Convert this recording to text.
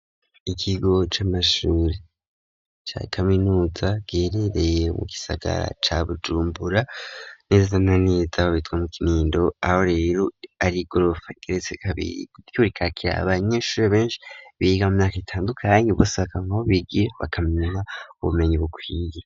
Ikigo c'amashure ca kaminuza giherereye mu gisagara ca bujumbura neza na neza aho bitwa mu kinindo aho rero ari igorofa igeretse kabiri naryo rikakira abanyeshure benshi biga mu myaka itandukanye busaka nabo bigiye bakamenana ubumenyi bukwiye.